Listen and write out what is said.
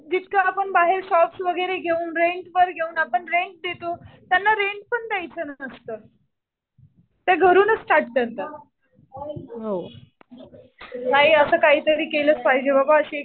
जितकं आपण बाहेर शॉप वगैरे घेऊन आपण रेंट वर घेऊन आपण रेंट देतो. त्यांना रेंट पण द्यायचं नसतं. ते घरूनच स्टार्ट करतात. नाही असं काहीतरी केलंच पाहिजे बाबा अशी .